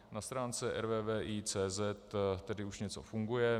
Na stránce rvvi.cz tedy už něco funguje.